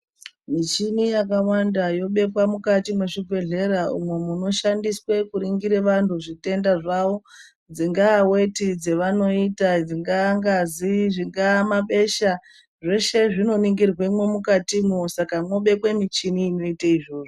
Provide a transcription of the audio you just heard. Michini yakawanda yobepa mukati mezvibhedhlera umo munoshandiswe kuningire vanhu zvitenda zvawo. Dzingava weti dzevanoita, dzingangazi, zvingamabesha. Zvoshe zvinoningirwemo mukati mo. Saka kunobekwe michini inoyite zvovo.